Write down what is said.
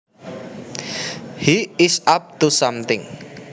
He is up to something